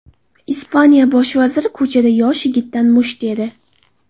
Ispaniya bosh vaziri ko‘chada yosh yigitdan musht yedi .